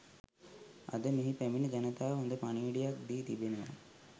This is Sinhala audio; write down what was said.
අද මෙහි පැමිණි ජනතාව හොඳ පණිවුඩයක් දී තිබෙනවා.